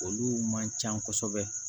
Olu man ca kosɛbɛ